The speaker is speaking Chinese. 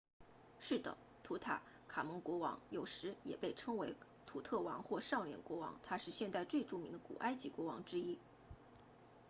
是的图坦卡蒙国王有时也被称为图特王或少年国王他是现代最著名的古埃及国王之一